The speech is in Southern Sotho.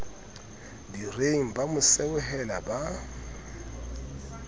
direng ba mo seohela ba